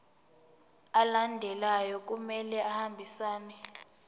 alandelayo kumele ahambisane